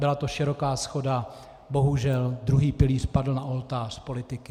Byla to široká shoda, bohužel druhý pilíř padl na oltář politiky.